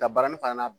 Ka baronifan